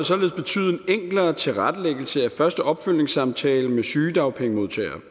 således betyde en enklere tilrettelæggelse af første opfølgningssamtale med sygedagpengemodtagere